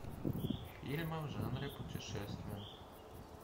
фильмы в жанре путешествие